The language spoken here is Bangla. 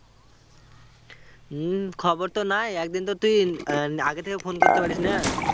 হমম খবর তো নাই একদিন তো তুই আহ আগে থেকে ফোন করতে পারিস না?